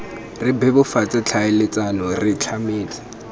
re bebofatse tlhaeletsano re tlametse